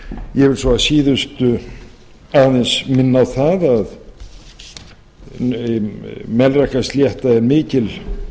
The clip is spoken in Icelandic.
vil svo að síðustu aðeins minna á það að melrakkaslétta er mikil